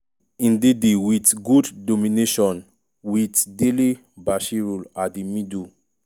ndidi wit good domination wit dele-bashiru at di middle.